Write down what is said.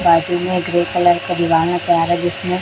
grey colour का दीवार नजर आ रहा है जिसमें--